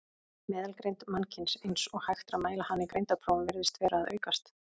Meðalgreind mannkyns, eins og hægt er að mæla hana í greindarprófum, virðist vera að aukast.